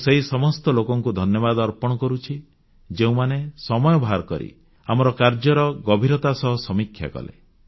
ମୁଁ ସେହି ସମସ୍ତ ଲୋକଙ୍କୁ ଧନ୍ୟବାଦ ଅର୍ପଣ କରୁଛି ଯେଉଁମାନେ ସମୟ ବାହାର କରି ଆମର କାର୍ଯ୍ୟର ଗଭୀରତା ସହ ସମୀକ୍ଷା କଲେ